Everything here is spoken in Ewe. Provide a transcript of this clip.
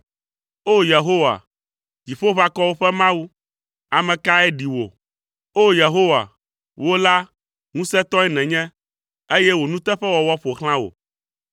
O! Yehowa, Dziƒoʋakɔwo ƒe Mawu, ame kae ɖi wò? O! Yehowa, wò la, ŋusẽtɔe nènye, eye wò nuteƒewɔwɔ ƒo xlã wò.